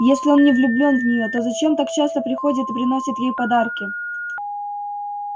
если он не влюблён в неё то зачем так часто приходит и приносит ей подарки